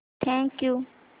thank you